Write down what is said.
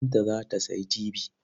Binta za ta sayi tibi.